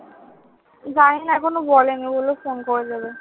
জানিনা এখনো বলে নি। বললো phone করে দেবে।